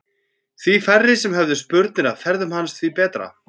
Því færri sem höfðu spurnir af ferðum hans því betra.